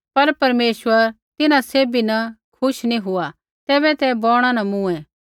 पर परमेश्वर तिन्हां सैभी न खुश नी हुआ तैबै ते बौणा न मूँए